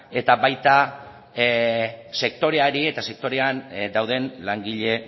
eta baita sektoreari eta sektorean dauden langile